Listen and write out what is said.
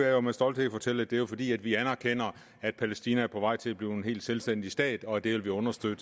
jeg med stolthed fortælle at det er fordi vi anerkender at palæstina er på vej til at blive en selvstændig stat og at vi vil understøtte